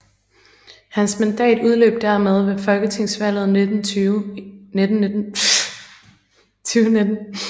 Hans mandat udløb dermed ved Folketingsvalget 2019